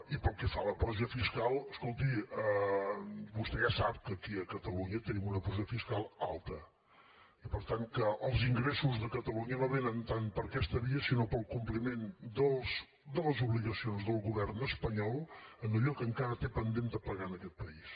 i pel que fa a la pressió fiscal escolti vostè ja sap que aquí a catalunya tenim una pressió fiscal alta i per tant que els ingressos de catalunya no vénen tant per aquesta via sinó pel compliment de les obligacions del govern espanyol en allò que encara té pendent de pagar a aquest país